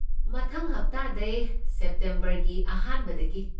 ꯃꯊꯪ ꯍꯞꯇꯥꯗꯩ, ꯁꯦꯞꯇꯦꯝꯕꯔꯒꯤ ꯑꯍꯥꯟꯕꯗꯒꯤ꯫